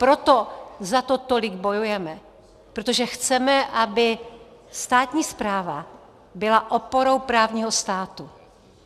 Proto za to tolik bojujeme, protože chceme, aby státní správa byla oporou právního státu.